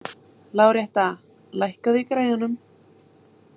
Láretta, lækkaðu í græjunum.